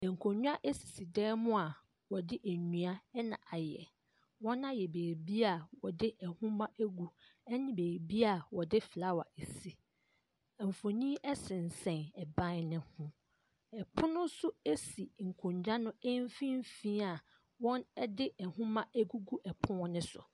Nkonnwa sisi dan mu a wɔde nnua na ayɛ, wɔn ayɛ beebi a wɔde nwoma gu ne beebi a wɔde flower si. Mfonin sensɛn ban ne ho. Pono nso si nkonnwa no mfimfin a wɔde nwoma agugu pono ne so.